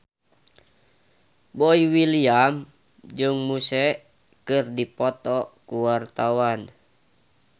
Boy William jeung Muse keur dipoto ku wartawan